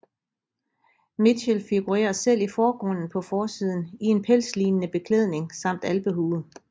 Mitchell figurerer selv i forgrunden på forsiden i en pelslignende beklædning samt alpehue